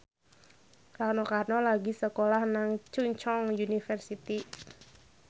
Rano Karno lagi sekolah nang Chungceong University